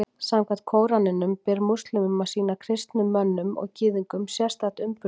Samkvæmt Kóraninum ber múslímum að sýna kristnum mönnum og Gyðingum sérstakt umburðarlyndi.